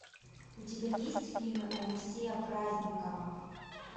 у тебя есть фильмы алексея праздникова